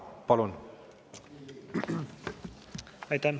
Palun!